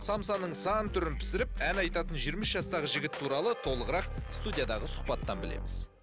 самсаның сан түрін пісіріп ән айтатын жиырма үш жастағы жігіт туралы толығырақ студиядағы сұхбаттан білеміз